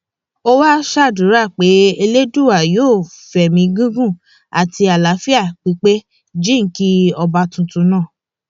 ó wáá ṣàdúrà pé elédùà yóò fẹmí gígùn àti àlàáfíà pípé jíǹkí ọba tuntun náà